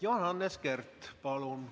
Johannes Kert, palun!